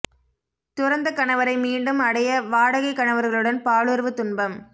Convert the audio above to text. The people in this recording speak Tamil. துறந்த கணவரை மீண்டும் அடைய வாடகை கணவர்களுடன் பாலுறவு துன்பம்